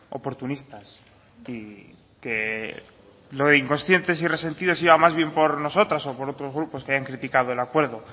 oportunistas y que lo de incoscientes y resentidos iba más bien por nosotros o por otros grupos que hayan criticado el acuerdo